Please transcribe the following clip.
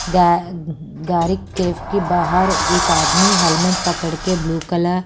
गा गाड़ी कैफ के बाहर एक आदमी हेलमेट पकड़ के ब्लू कलर --